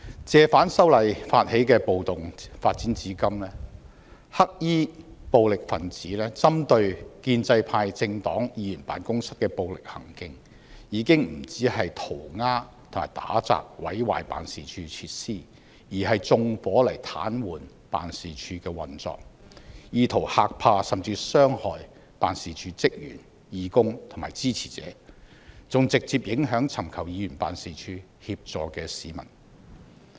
借反修例發起的暴動發展至今，黑衣暴力分子針對建制派政黨議員辦事處的暴力行徑，已經不止塗鴉和打砸、毀壞辦事處設施，而是縱火來癱瘓辦事處的運作，意圖嚇怕甚至傷害辦事處職員、義工及支持者，還直接影響尋求議員辦事處協助的市民。